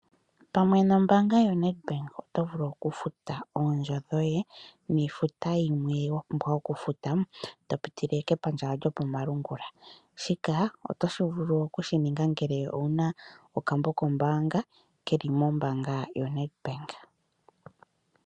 Pamwe nombaanga yoNedbank oto vulu okufuta oondjo dhoye niifuta yimwe wa pumbwa okufuta, to pitile kepandja lyokomalungula. Shika otoshi vulu okushininga ngele owuna okambo kombaanga keli mombaangaa yoNedbank.